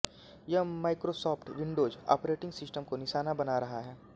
यह Microsoft Windows operating system को निशाना बना रहा है